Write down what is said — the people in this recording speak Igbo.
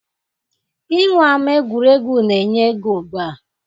Inwe ama egwuregwu na-enye ego ugbua.